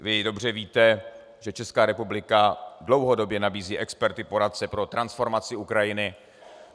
Vy dobře víte, že Česká republika dlouhodobě nabízí experty, poradce pro transformaci Ukrajiny.